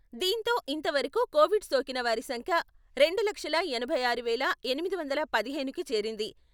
దీంతో ఇంతవరకు కోవిడ్ సోకిన వారి సంఖ్య రెండు లక్షల ఎనభై ఆరు వేల ఎనిమిది వందల పదిహేనుకి చేరింది.